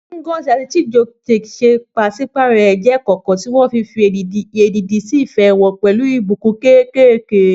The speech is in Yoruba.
Ngozi àti Chijioke pàṣípààrọ̀ ẹ̀jẹ́ ìkọ̀kọ̀, tí wọ́n fi èdìdì sí ìfẹ́ wọn pẹ̀lú ìbùkún kéékèèké.